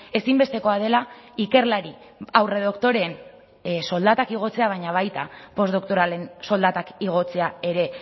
ezinbestekoa dela ikerlari aurredoktoreen soldatak igotzea baina baita postdoktoralen soldatak igotzea ere